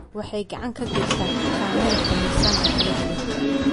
Waxay gacan ka geystaan ??xakamaynta miisaanka kala duwan.